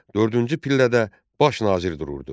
Dördüncü pillədə baş nazir dururdu.